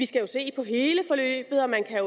skal se på hele forløbet og man kan